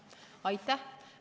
Aitäh!